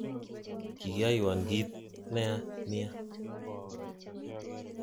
Kikiyoiwon kit neya nia